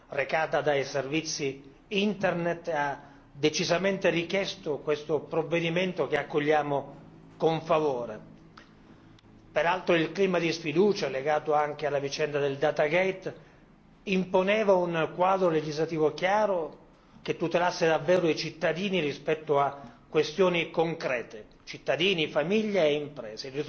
recata dai servizi internet ha decisamente richiesto questo provvedimento che accogliamo con favore. Peraltro il clima di sfiducia legato anche alla vicenda del Datagate imponeva un quadro legislativo chiaro, che tutelasse davvero i cittadini rispetto a questioni concrete, cittadini, famiglia e imprese.